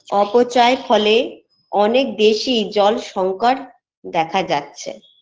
অপচয়ের ফলে অনেক বেশি জল সংকট দেখা যাচ্ছে